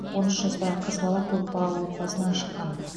он үш жастағы қыз бала көпбалалы отбасынан шыққан